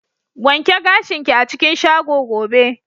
Wanke gashin ki a cikin shago gobe!